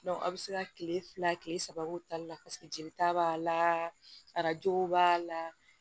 a bɛ se ka kile fila kile saba k'o tali la jelita b'a la arajo b'a la